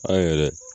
An yɛrɛ